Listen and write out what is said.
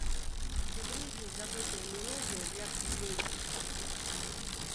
загрузи забытая мелодия для флейты